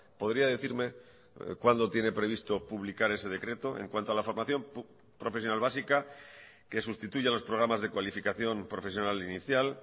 podría decirme cuándo tiene previsto publicar ese decreto en cuanto a la formación profesional básica que sustituya a los programas de cualificación profesional inicial